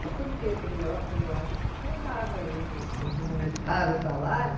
Aí, quando eu vi aquele envelope, eu falei, eu acho que está errado aí, vocês me aumentaram o salário.